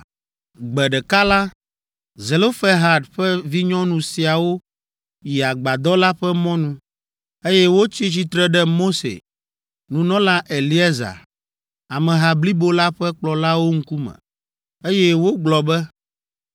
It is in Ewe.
Gbe ɖeka la, Zelofehad ƒe vinyɔnu siawo yi agbadɔ la ƒe mɔnu, eye wotsi tsitre ɖe Mose, nunɔla Eleazar, ameha blibo la ƒe kplɔlawo ŋkume, eye wogblɔ be,